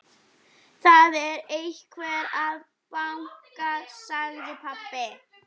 Það er einhver að banka, sagði pabbi.